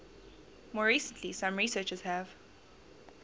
more recently some researchers have